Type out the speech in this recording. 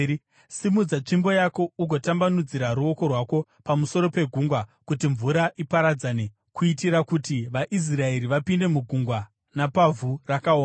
Simudza tsvimbo yako ugotambanudzira ruoko rwako pamusoro pegungwa kuti mvura iparadzane kuitira kuti vaIsraeri vapinde mugungwa napavhu rakaoma.